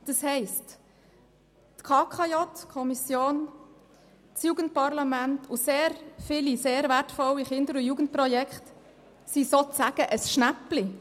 Das bedeutet, dass die KKJ, das Jugendparlament und sehr viele wertvolle Jugendprojekte gewissermassen ein Schnäppchen sind.